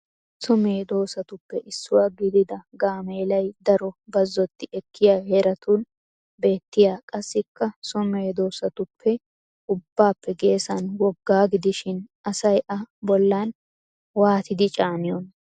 So medoosaatuppe issuwa gidida gaameelay daro bazzotti ekkiya heeratun beettiya qassikka so medoosaatuppe ubbaappe geesan woggaa gidishin asay a bollan waatidi caaniyonaa?